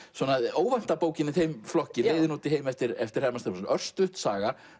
óvænta bókin í þeim flokki leiðin út í heim eftir eftir Hermann Stefánsson örstutt saga